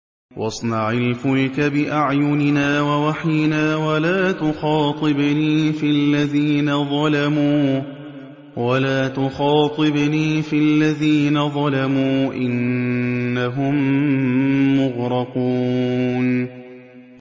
وَاصْنَعِ الْفُلْكَ بِأَعْيُنِنَا وَوَحْيِنَا وَلَا تُخَاطِبْنِي فِي الَّذِينَ ظَلَمُوا ۚ إِنَّهُم مُّغْرَقُونَ